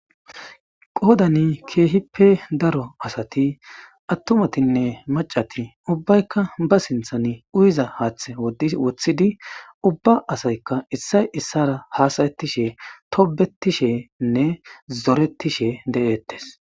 Qoodani keehippe daro asati attumatinne macati ubbaykka ba sinthan uyiza haaththe wothidi ubba asaykka issay issara haasayettishe tobetishenne zoretishe de7eettes.